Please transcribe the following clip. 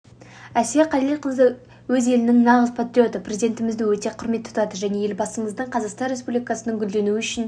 әсия қалелқызы өз елінің нағыз патриоты президентімізді өте құрмет тұтады және елбасымыздың қазақстан республикасының гүлденуі үшін